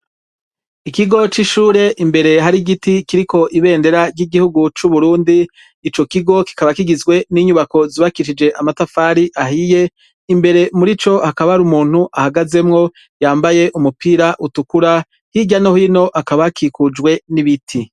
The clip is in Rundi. Ikigo c'ishure, imbere hari igiti kiriko ibendera ry'igihugu c'Uburundi, ico kigo kikaba kigizwe n'inyubako zibakishije amatafari ahiye, imbere murico hakaba hari umuntu ahagazemwo yambaye umupira utukura, hirya no hino hakaba hakikujwe n'ibiti.